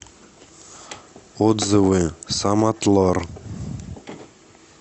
отзывы самотлор